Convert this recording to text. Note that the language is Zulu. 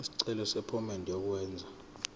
isicelo sephomedi yokwenze